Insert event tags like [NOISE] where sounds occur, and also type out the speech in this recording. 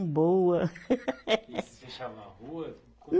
Boa. [LAUGHS] E vocês fechavam a rua? Como